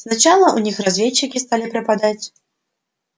сначала у них разведчики стали пропадать